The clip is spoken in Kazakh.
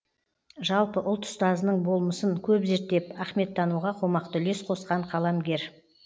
жалпы ұлт ұстазының болмысын көп зерттеп ахметтануға қомақты үлес қосқан қаламгер